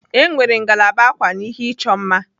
E nwere ngalaba ákwà na ihe ịchọ mma.